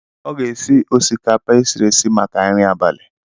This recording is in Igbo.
Ọ ga-esi osikapa e siri esi maka nri abalị.